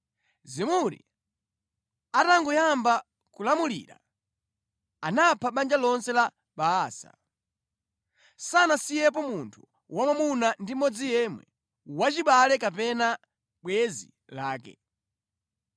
Zimuri atangoyamba kulamulira, anapha banja lonse la Baasa. Sanasiyepo munthu wamwamuna ndi mmodzi yemwe, wachibale kapena bwenzi lake.